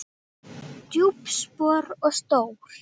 Djúp spor og stór.